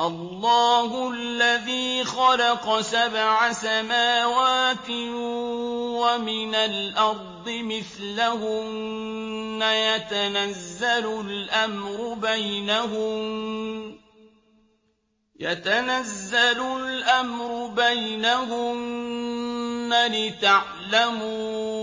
اللَّهُ الَّذِي خَلَقَ سَبْعَ سَمَاوَاتٍ وَمِنَ الْأَرْضِ مِثْلَهُنَّ يَتَنَزَّلُ الْأَمْرُ بَيْنَهُنَّ لِتَعْلَمُوا